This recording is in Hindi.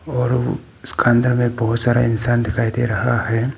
और वो उसका अंदर में बहुत सारे इंसान दिखाई दे रहा है।